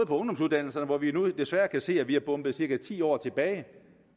på ungdomsuddannelserne hvor vi nu desværre kan se at vi er bombet cirka ti år tilbage